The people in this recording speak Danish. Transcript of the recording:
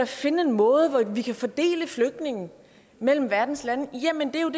finde en måde hvorpå vi kan fordele flygtningene mellem verdens lande jamen det er jo